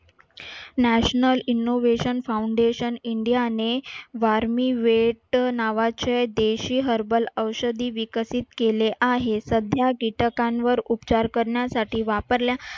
national innovation foundation India ने वारमीवेट नावाचे देशी herbal औषधी विकसित केले आहे. सध्या किटकांवर उपचार करण्यासाठी वापरल्या